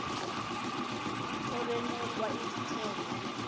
obenukwa izithende yibhubesi